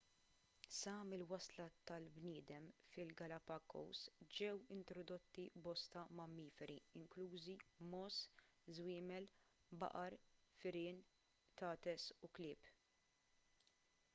sa mill-wasla tal-bniedem fil-galapagos ġew introdotti bosta mammiferi inklużi mogħoż żwiemel baqar firien qtates u klieb